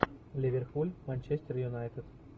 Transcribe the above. ливерпуль манчестер юнайтед